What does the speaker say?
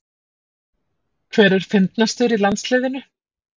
Hver er fyndnastur í landsliðinu?